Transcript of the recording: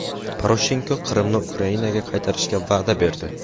Poroshenko Qrimni Ukrainaga qaytarishga va’da berdi.